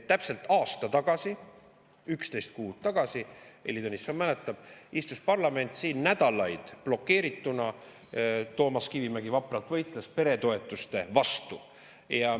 Täpselt aasta tagasi, 11 kuud tagasi – Heili Tõnisson mäletab – istus parlament siin nädalaid blokeerituna ja Toomas Kivimägi võitles vapralt peretoetuste vastu.